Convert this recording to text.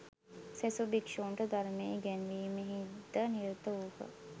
සෙසු භික්‍ෂූන්ට ධර්මය ඉගැන්වීමෙහි ද නිරත වූහ